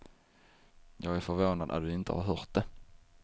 Jag är förvånad att du inte har hört det.